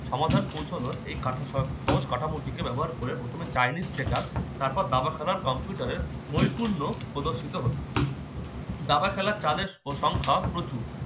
তাহলে পৌঁছানোর এই এই সহজ কাঠামোটিকে ব্যবহার করে প্রথমে chinese শেখা তারপর দাবা খেলার কম্পিউটারের বহিঃপূর্ন প্রদর্শিত হল দাবা খেলার চালের প্রশংসা প্রচুর